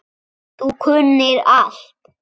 Þú kunnir allt.